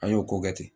An y'o ko kɛ ten